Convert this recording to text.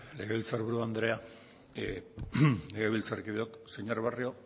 legebiltzarburu andrea legebiltzarkideok señor barrio